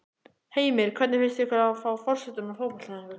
Heimir: Hvernig finnst ykkur að fá forsetann á fótboltaæfingu?